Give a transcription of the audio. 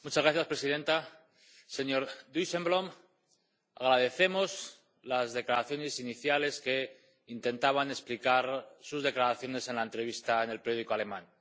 Señora presidenta, señor Dijsselbloem, agradecemos las declaraciones iniciales que intentaban explicar sus declaraciones en la entrevista en el periódico alemán.